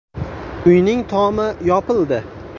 Uyning tomi yopildi.